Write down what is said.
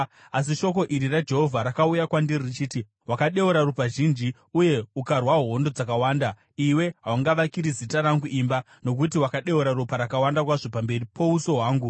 Asi shoko iri raJehovha rakauya kwandiri richiti, ‘Wakadeura ropa zhinji uye ukarwa hondo dzakawanda. Iwe haungavakiri Zita rangu imba, nokuti wakadeura ropa rakawanda kwazvo pamberi pouso hwangu.